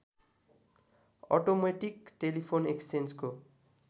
automatic telephone एक्सचेन्जको